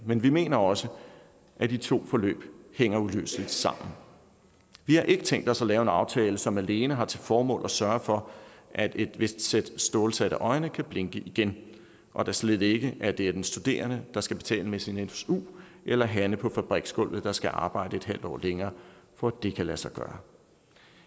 men vi mener også at de to forløb hænger uløseligt sammen vi har ikke tænkt os at lave en aftale som alene har til formål at sørge for at et vist sæt stålsatte øjne kan blinke igen og da slet ikke at det er den studerende der skal betale med sin su eller hanne på fabriksgulvet der skal arbejde en halv år længere for at det kan lade sig gøre